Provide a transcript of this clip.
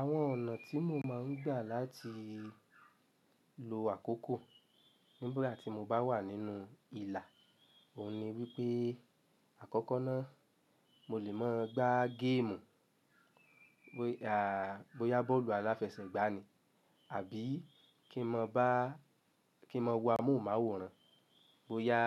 Àwọn ọ̀nà tí mo máa ń gbà láti lo àkókò nígbà tí mo bá wà nínú ìlà òun ni wípé àkọ́kọ́ náà mo lè máa gbá géèmù, bóyá bọ́ọ̀lù aláfẹsẹ̀gbá ni àbí kí n máa bá-- kí n máa wo amóhùnmáwòrán bóyá